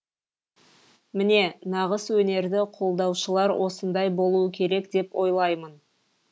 міне нағыз өнерді қолдаушылар осындай болуы керек деп ойлаймын